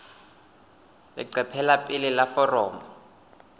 leqephe la pele la foromo